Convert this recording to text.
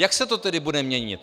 Jak se to tedy bude měnit?